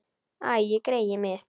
Æi, greyið mitt.